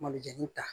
Malijɛni ta